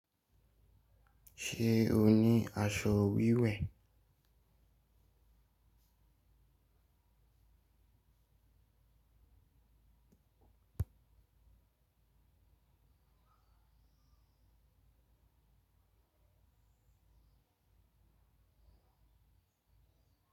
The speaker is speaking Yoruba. Ṣe o ni aṣọ wiwẹ?